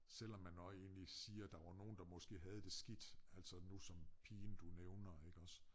Selvom man også egentlig siger der var nogen der måske havde det skidt altså nu som pigen du nævner iggås